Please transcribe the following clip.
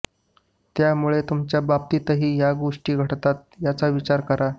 त्यामुळे तुमच्याबाबतही या गोष्टी घडतात का याचा विचार करा